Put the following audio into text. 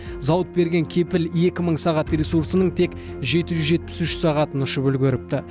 зауыт берген кепіл екі мың сағат ресурсының тек жеті жүз жетпіс үш сағатын ұшып үлгеріпті